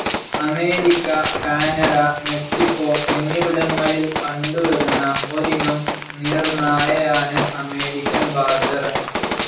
America, Canada, Mexico, എന്നിവിടങ്ങളിൽ കണ്ടു വരുന്ന ഒരിനം നീർനായയാണ് അമേരിക്കൻ ബാഡ്ജർ.